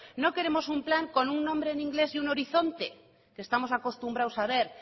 no queremos un plan con un nombre en inglés y un horizonte estamos acostumbrados a ver